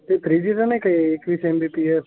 ते थ्रीजी चा नाही का. एकविस mbps